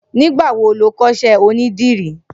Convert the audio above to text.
Nigbà wó ló kọṣẹ ónìdìrì?